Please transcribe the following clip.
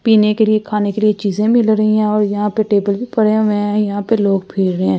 पीने के लिए खाने के लिए चीजें मिल रही हैं और यहां पे टेबल भी पड़े हुए हैं यहां पे लोग फिर रहे हैं ।